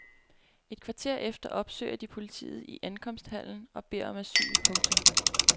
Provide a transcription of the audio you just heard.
Et kvarter efter opsøger de politiet i ankomsthallen og beder om asyl. punktum